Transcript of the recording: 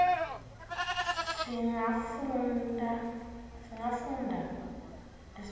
singafunda kutibhalela tetfu